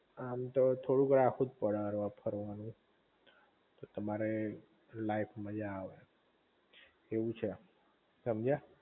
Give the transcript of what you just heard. આમ તો થોડુંક રાખવું જ પડે હરવા ફરવા નું, તો તમારે લાઈફ મજા આવે એવું છે એમ સમજ્યા?